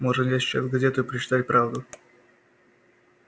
можно взять сейчас газету и прочитать правду